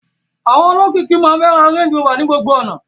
Àwọn olókìkí máa ń fẹ́ ra Range Rover ní gbogbo ìgbà.